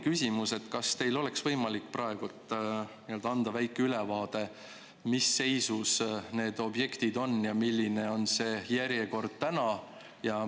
Kas teil oleks võimalik anda praegu väike ülevaade, mis seisus need objektid on ja milline on see järjekord täna?